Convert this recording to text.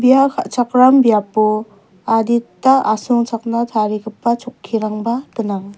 ia ka·chakram biapo adita asongchakna tarigipa chokkirangba gnang.